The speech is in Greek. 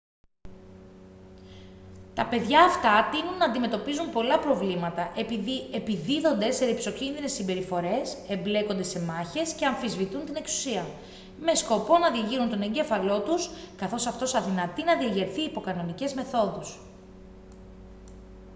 τα παιδιά αυτά τείνουν να αντιμετωπίζουν πολλά προβλήματα επειδή «επιδίδονται σε ριψοκίνδυνες συμπεριφορές εμπλέκονται σε μάχες και αμφισβητούν την εξουσία» με σκοπό να διεγείρουν τον εγκέφαλό τους καθώς αυτός αδυνατεί να διεγερθεί υπό κανονικές μεθόδους